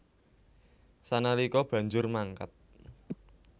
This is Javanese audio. Sanalika banjur mangkat